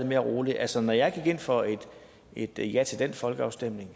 mere roligt altså når jeg gik ind for et ja til den folkeafstemning